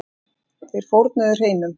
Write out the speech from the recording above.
Þeir fórnuðu hreinum.